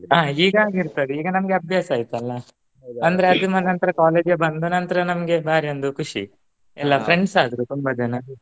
ಹಾ ಈಗ ಆಗಿರ್ತಾರೆ ಈಗ ನಮಗೆ ಅಭ್ಯಾಸ ಆಯ್ತಲ್ಲಾ ಅಂದ್ರೆ ಅದು ಮುಗಿದ ನಂತರ college ಗೆ ಬಂದ ನಂತರ ನಮ್ಗೆ ಬಾರಿ ಒಂದು ಖುಷಿ ಎಲ್ಲ friends ಆದ್ರು ತುಂಬ ಜನ